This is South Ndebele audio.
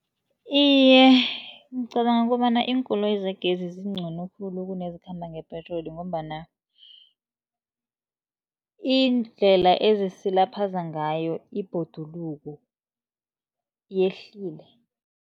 Iye, ngicabanga kobana iinkoloyi zegezi zincono khulu kunezikhamba ngepetroli, ngombana iindlela ezisilaphaza ngayo ibhoduluko yehlile.